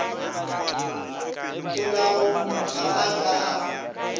polao ga a ka a